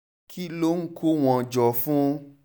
kí ló ń kó wọn jọ fún